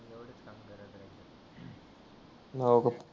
हो का